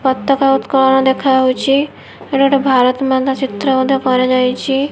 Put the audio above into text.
ପତକା ଉତ୍କୋଳନ ଦେଖାହୋଉଚି ଇଟା ଗୋଟେ ଭାରତ୍ ମାନଚିତ୍ର ମଧ୍ୟ କରାଯାଇଛି।